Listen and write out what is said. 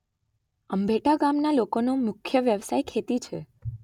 અંભેટા ગામના લોકોનો મુખ્ય વ્યવસાય ખેતી છે.